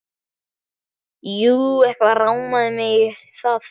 Jú, eitthvað rámaði mig í það.